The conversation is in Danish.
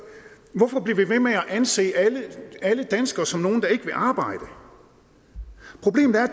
hvorfor bliver vi ved med at anse alle danskere som nogle der ikke vil arbejde problemet er